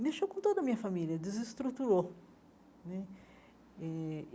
mexeu com toda a minha família, desestruturou né eh.